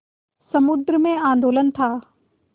समुद्र में आंदोलन था